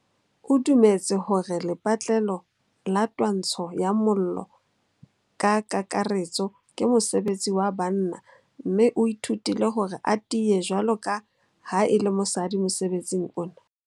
O dumetse hore lepatlelo la twantsho ya mollo ka kakaretso ke mosebetsi wa banna mme o ithutile hore a tiye jwalo ka ha e le mosadi mosebetsing ona.